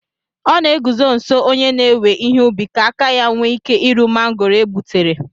O na eguzo nso onye na-ewe ihe ubi ka aka ya nwee ike iru mangoro e gbutere